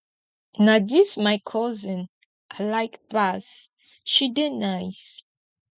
na dis my cousin i like pass she dey nice